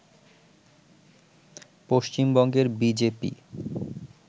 পশ্চিমবঙ্গের B J P